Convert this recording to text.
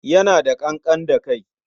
Yana da ƙanƙan da kai.